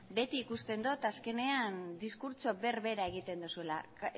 beti ikusten dut azkenean diskurtso berbera egiten duzula